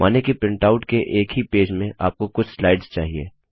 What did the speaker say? मानिए कि प्रिंटआउट के एक ही पेज में आपको कुछ स्लाइड्स चाहिए